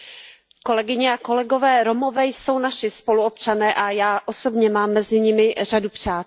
Kolegyně a kolegové, Romové jsou naši spoluobčané a já osobně mám mezi nimi řadu přátel.